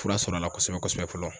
Fura sɔrɔla kosɛbɛ kosɛbɛ fɔlɔ.